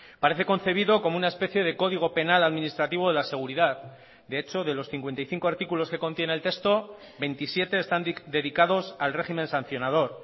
parece concebido como una especie de código penal administrativo de la seguridad de hecho de los cincuenta y cinco artículos que contiene el texto veintisiete están dedicados al régimen sancionador